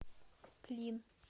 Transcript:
клин